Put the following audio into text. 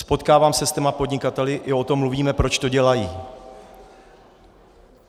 Potkávám se s těmi podnikateli, i o tom mluvíme, proč to dělají.